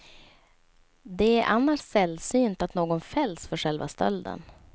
Det är annars sällsynt att någon fälls för själva stölden.